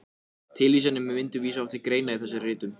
Tilvísanir með myndum vísa oft til greina í þessum ritum.